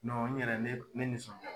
n yɛrɛ ne ne nisɔnjaa la.